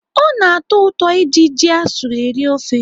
Ọ na-atọ ụtọ iji ji asụrụ eri ofe.